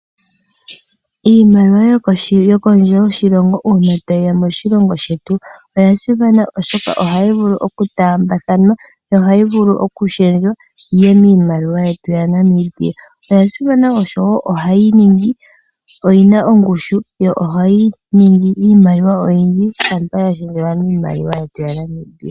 Iimaliwa yokondje yoshilongo una tayiya moshilongo shetu oya simana oshoka ohayi vulu okutambathanwa yo ohayi vulu okupingakanithwa niimaliwa yetu yaNamibia. Oya simana woo oshoka oyina ongushu nohayi ningi iimaliwa oyindji shampa yapingakanekwa miimaliwa yetu yaNamibia.